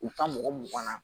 U ka mɔgɔ mugan na